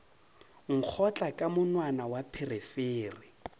nkgotla ka monwana wa pherefere